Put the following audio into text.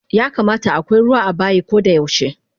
Yakamata akwai ruwa abayi kodayaushe